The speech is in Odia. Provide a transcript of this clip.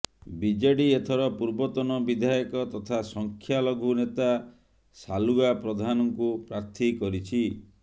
ବିଜେଡି ଏଥର ପୂର୍ବତନ ବିଧାୟକ ତଥା ସଂଖ୍ୟା ଲଘୁ ନେତା ସାଲୁଗା ପ୍ରଧାନଙ୍କୁ ପ୍ରାର୍ଥୀ କରିଛି